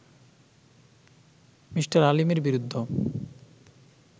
Me. আলীমের বিরুদ্ধ